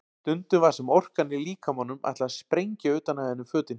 Stundum var sem orkan í líkamanum ætlaði að sprengja utan af henni fötin.